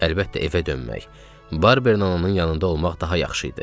Əlbəttə evə dönmək, Barbern onun yanında olmaq daha yaxşı idi.